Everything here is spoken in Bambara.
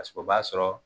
Paseke o b'a sɔrɔ